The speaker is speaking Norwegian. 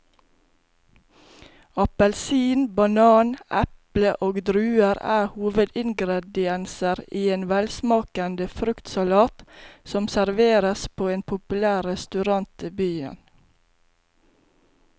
Appelsin, banan, eple og druer er hovedingredienser i en velsmakende fruktsalat som serveres på en populær restaurant i byen.